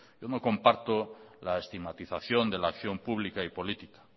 yo no comparto la estigmatización de la acción pública y política